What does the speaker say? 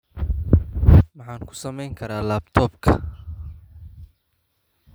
Maxaan ku samayn karaa laptop-ka?